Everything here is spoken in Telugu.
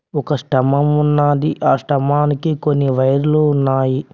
ఒక స్తంభం ఉన్నది ఆ స్తంభానికి కొన్ని వైర్లు ఉన్నాయి.